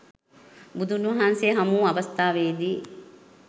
බුදුන් වහන්සේ හමු වූ අවස්ථාවේ දී